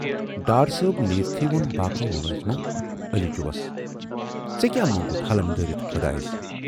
ڈار صٲب نیٖرِتھٕے وون باقٕے مُلٲزموَ علی جوٗس، ژے کیاہ مونگُت ہلم دٲرِتھ خۅدایَس؟